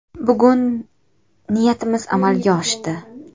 Bugun niyatimiz amalga oshdi.